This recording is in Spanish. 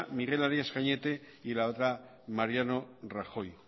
miguel arias cañete y la otra mariano rajoy